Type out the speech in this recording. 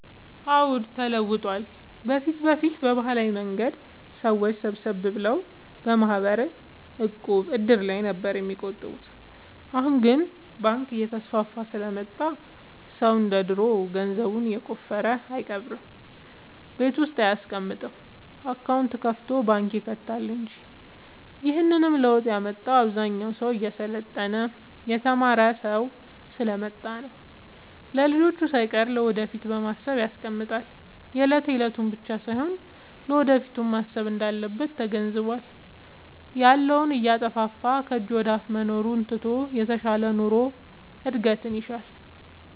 አዎድ ተለውጧል በፊት በፊት በባህላዊ መንገድ ሰዎች ሰብሰብ ብለው በማህበር፣ ዕቁብ፣ እድር ላይ ነበር የሚቆጥቡት አሁን ግን ባንክ እየተስፋፋ ስለመጣ ሰው እንደ ድሮ ገንዘቡን የቆፈረ አይቀብርም ቤት ውስጥ አይያስቀምጥም አካውንት ከፋቶ ባንክ ይከታል እንጂ ይህንንም ለውጥ ያመጣው አብዛኛው ሰው እየሰለጠነ የተማረ ስሐ ስለመጣ ነው። ለልጅቹ ሳይቀር ለወደፊት በማሰብ ያስቀምጣል የለት የለቱን ብቻ ሳይሆን ለወደፊቱም ማሰብ እንዳለበት ተገንዝቧል። ያለውን እያጠፋፋ ከጅ ወደአፋ መኖሩን ትቶ የተሻለ ኑሮ እድገት ይሻል።